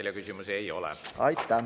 Teile küsimusi ei ole.